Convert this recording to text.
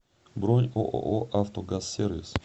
бронь ооо автогазсервис